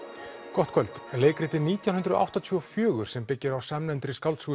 gott kvöld leikritið nítján hundruð áttatíu og fjögur sem byggir á samnefndri skáldsögu